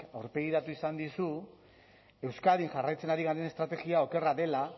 aurpegiratu izan dizu euskadin jarraitzen ari garen estrategia okerra dela